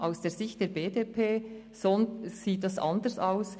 Aus Sicht der BDP sieht es anders aus: